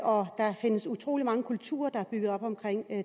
og der findes utrolig mange kulturer der er bygget op omkring